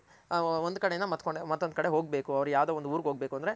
ಅ ಒಂದ್ ಕಡೆ ಯಿಂದ ಮತ್ತೊಂದ್ ಕಡೆಗ್ ಹೋಗ್ಬೇಕು ಅವ್ರ್ ಯಾವ್ದೋ ಒಂದ್ ಊರ್ಗ್ ಹೋಗ್ಬೇಕು ಅಂದ್ರೆ